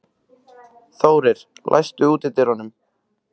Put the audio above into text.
Þórir, læstu útidyrunum.